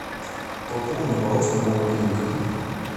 пополни баланс моего мобильника